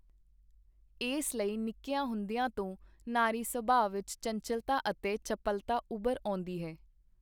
ਏਸ ਲਈ ਨਿੱਕੀਆਂ ਹੁੰਦੀਆਂ ਤੋਂ ਨਾਰੀ-ਸੁਭਾਅ ਵਿਚ ਚੰਚੱਲਤਾ ਅਤੇ ਚਪਲਤਾ ਉਭਰ ਆਉਂਦੀ ਹੈ.